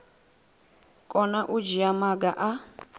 kona u dzhia maga a